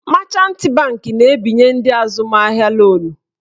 Machant banki na-ebinye ndị azụmahịa lonu.